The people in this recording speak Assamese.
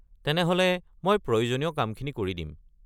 তেনেহ'লে মই প্ৰয়োজনীয় কামখিনি কৰি দিম।